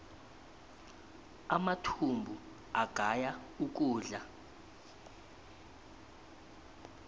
amathumbu agaya ukudla